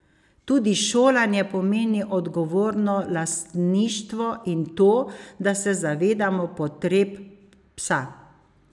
Tudi šolanje pomeni odgovorno lastništvo in to, da se zavedamo potreb psa.